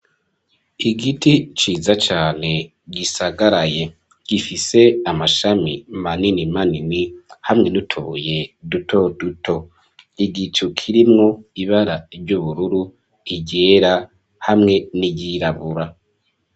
Igiti ciza cane gisagaraye gifise amashami manini manini hamwe niutubuye duto duto igicu kirimwo ibara ry'ubururu iryera hamwe n'iryirabura.